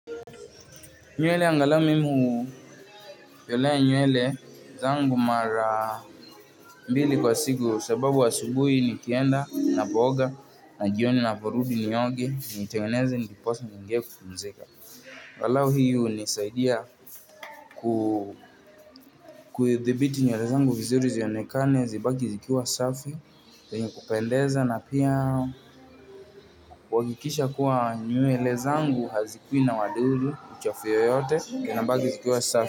Nywele angalau mimi unyolea nywele zangu mara mbili kwa siku sababu asubuhi nikienda napooga, na jioni navarudi nioge nitengeneze ndipo sasa niingie kupumzika. Walau hiyo nisaidia kudhibiti nywele zangu vizuri zionekane zibaki zikiwa safi yenye kupendeza na pia kuhakikisha kuwa nywele zangu hazikui na wadudu, uchafu yoyote, inabaki zikiwa safi.